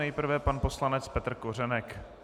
Nejprve pan poslanec Petr Kořenek.